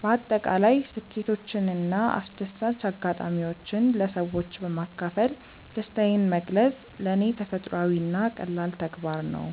በአጠቃላይ ስኬቶችንና አስደሳች አጋጣሚዎችን ለሰዎች በማካፈል ደስታዬን መግለጽ ለኔ ተፈጥሯዊና ቀላል ተግባር ነው።